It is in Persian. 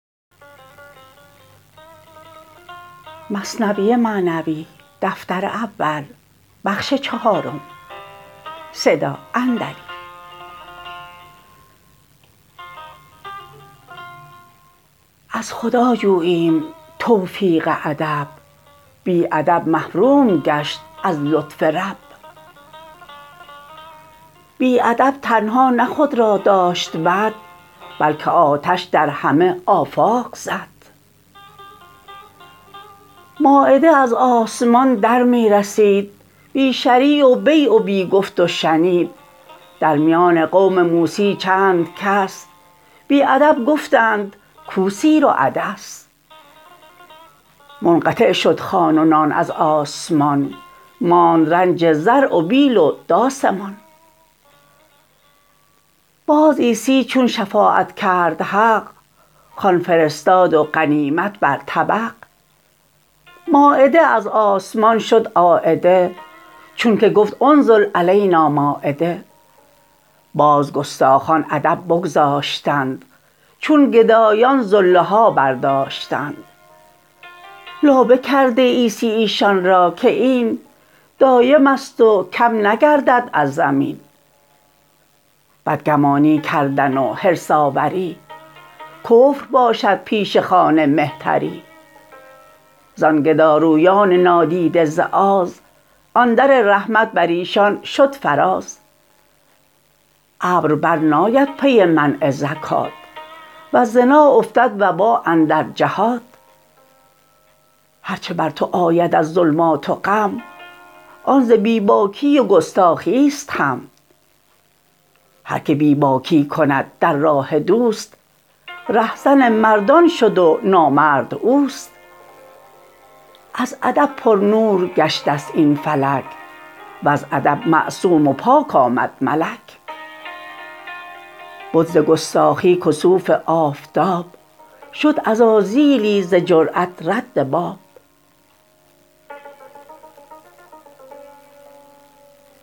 از خدا جوییم توفیق ادب بی ادب محروم گشت از لطف رب بی ادب تنها نه خود را داشت بد بلکه آتش در همه آفاق زد مایده از آسمان در می رسید بی شری و بیع و بی گفت و شنید در میان قوم موسی چند کس بی ادب گفتند کو سیر و عدس منقطع شد خوان و نان از آسمان ماند رنج زرع و بیل و داس مان باز عیسی چون شفاعت کرد حق خوان فرستاد و غنیمت بر طبق مایده از آسمان شد عایده چون که گفت انزل علینا مایده باز گستاخان ادب بگذاشتند چون گدایان زله ها برداشتند لابه کرده عیسی ایشان را که این دایمست و کم نگردد از زمین بدگمانی کردن و حرص آوری کفر باشد پیش خوان مهتری زان گدارویان نادیده ز آز آن در رحمت بریشان شد فراز ابر بر ناید پی منع زکات وز زنا افتد وبا اندر جهات هر چه بر تو آید از ظلمات و غم آن ز بی باکی و گستاخیست هم هر که بی باکی کند در راه دوست ره زن مردان شد و نامرد اوست از ادب پرنور گشته ست این فلک وز ادب معصوم و پاک آمد ملک بد ز گستاخی کسوف آفتاب شد عزازیلی ز جرات رد باب